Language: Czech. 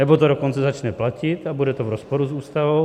Nebo to dokonce začne platit a bude to v rozporu s Ústavou.